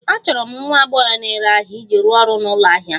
Achọrọ m nwa agbọghọ na-ere ahịa iji rụọ ọrụ n'ụlọ ahịa m